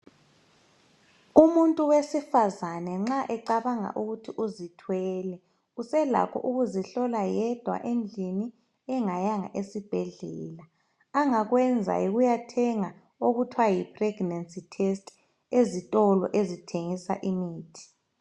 Umuntu wesifazane nxa ecabanga ukuthi uzithwele uselakho ukuzihlola yedwa endlini engayanga esibhedlela. Angakwenza yikuyathenga okuthiwa yipregnancy test ezitolo ezithengisa imithi.